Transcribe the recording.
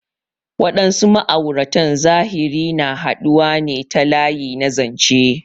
Waɗansu ma'auratan zahiri na haɗuwa ne ta layi na zanche.